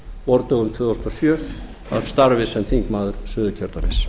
vordögum tvö þúsund og sjö af starfi sem þingmaður suðurkjördæmis